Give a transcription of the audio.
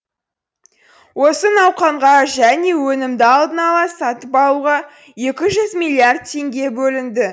осы науқанға және өнімді алдын ала сатып алуға екі жүз миллиард теңге бөлінді